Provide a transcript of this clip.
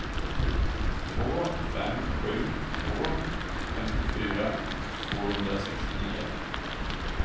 två fem sju två femtiofyra tvåhundrasextionio